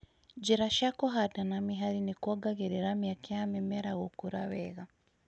Njĩra cia kũhanda na mĩhari nĩkuongagĩrĩra mĩeke ya mĩmera gũkũra wega